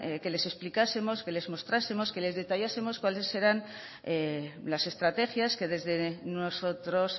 querían que les explicásemos que les mostrásemos que les detallásemos cuáles eran las estrategias que desde nosotros